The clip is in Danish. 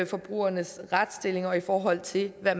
forbrugernes retsstilling i forhold til hvad